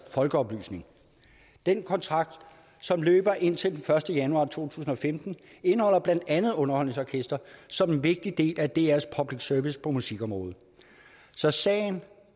folkeoplysning den kontrakt som løber indtil den første januar to tusind og femten indeholder blandt andet underholdningsorkestret som en vigtig del af drs public service på musikområdet så sagen